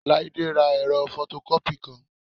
Láídé ra ẹ̀rọ fọtọkọ́pì kan